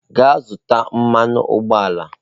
Gaa zụta mmanụ ụgbọala!